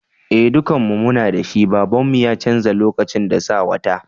Eh dukan mu muna da shi, baban mu ya canza lokacin da sa wata.